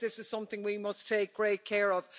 I think this is something we must take great care of.